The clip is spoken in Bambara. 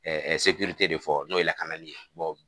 de fɔ n'o ye lakanali ye